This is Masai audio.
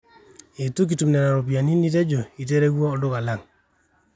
eitu kitum nena ropiyani nitejo iterewua olduka lang